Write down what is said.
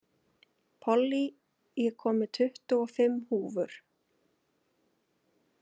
Pollý, ég kom með tuttugu og fimm húfur!